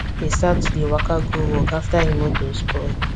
he start to dey waka go work after hin motor spoil